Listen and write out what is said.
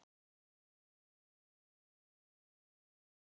gagnvart nýjum hluthöfum.